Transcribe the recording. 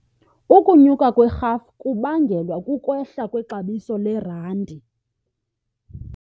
Ukunyuka kwerhafu kubangelwa kukwehla kwexabiso lerandi.